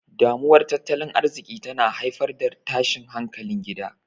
Damuwar Tattalin Arziki tana haifar da tashin hankalin gida.